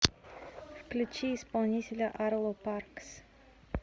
включи исполнителя арло паркс